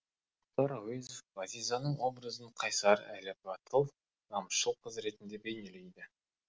мұхтар әуезов ғазизаның образын қайсар әрі батыл намысшыл қыз ретінде бейнелейді